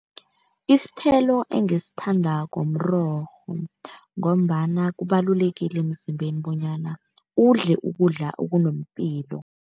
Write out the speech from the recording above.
Isithelo engisithandako mrorho, ngombana kubalulekile emzimbeni bonyana udle ukudla okunepilo.